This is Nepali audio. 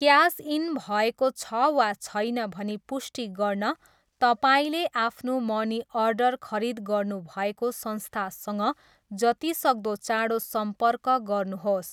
क्यास इन भएको छ वा छैन भनी पुष्टि गर्न तपाईँले आफ्नो मनी अर्डर खरिद गर्नुभएको संस्थासँग जतिसक्दो चाँडो सम्पर्क गर्नुहोस्।